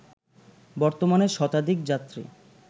বর্তমানে শতাধিক যাত্রী